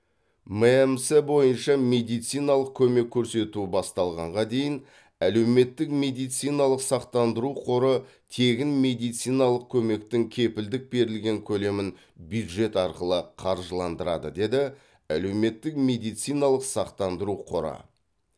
мемс бойынша медициналық көмек көрсету басталғанға дейін әлеуметтік медициналық сақтандыру қоры тегін медициналық көмектің кепілдік берілген көлемін бюджет арқылы қаржыландырады деді әлеуметтік медициналық сақтандыру қоры